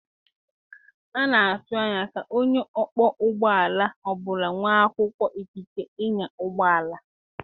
A na-atụ anya ka onye ọkpọ ụgbọ ala ọ bụla nwere akwụkwọ ikike ịnya ụgbọ ala.